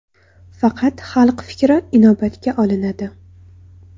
Faqat xalq fikri inobatga olinadi.